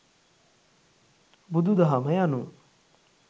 බුදුදහම යනු